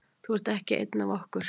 Þú ert ekki ein af okkur.